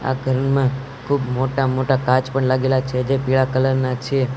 આ ઘરમાં ખૂબ મોટા મોટા કાચ પણ લાગેલા છે જે પીળા કલર ના છે.